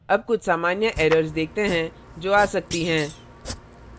अब कुछ सामान्य errors देखते हैं जो आ सकती हैं